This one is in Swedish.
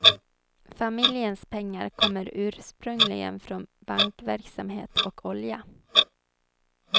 Familjens pengar kommer ursprungligen från bankverksamhet och olja.